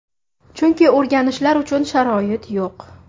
Chunki o‘rganishlari uchun sharoit yo‘q.